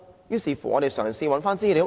於是，我們嘗試尋找資料。